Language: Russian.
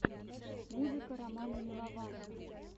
музыка романа милованова